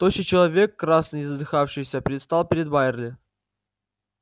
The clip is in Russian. тощий человек красный и задыхающийся предстал перед байерли